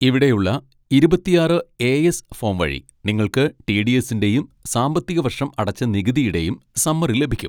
ഇവിടെയുള്ള ഇരുപത്തിയാറ് A S form വഴി നിങ്ങൾക്ക് ടി. ഡി. എസ്സിൻ്റെയും സാമ്പത്തികവർഷം അടച്ച നികുതിയുടെയും സമ്മറി ലഭിക്കും.